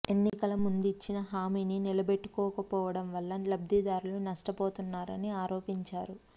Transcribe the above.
ఎన్నికలకు ముందు ఇచ్చిన హామీని నిలబెట్టుకోకపోవడం వల్ల లబ్దిదారులు నష్టపోతున్నారని ఆరోపించారు